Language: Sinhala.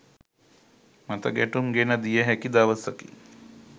මතගැටුම් ගෙන දිය හැකි දවසකි